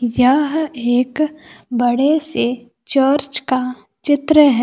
यह एक बड़े से चर्च का चित्र है।